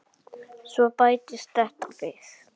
Svo bættist þetta við.